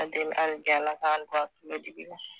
deli ali bi ALA k'an don a kalo dibi la.